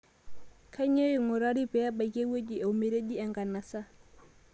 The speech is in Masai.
Kainyoo eing'urari pee ebaiki ewueji ometeji enkanasa